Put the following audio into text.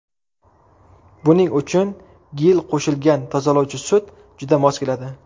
Buning uchun gil qo‘shilgan tozalovchi sut juda mos keladi.